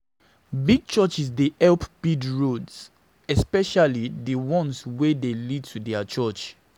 Big churches dey help build roads especially di ones wey dey lead to their church.